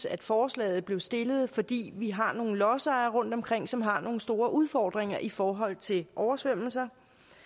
at forslaget blev stillet fordi vi har nogle lodsejere rundtomkring som har nogle store udfordringer i forhold til oversvømmelser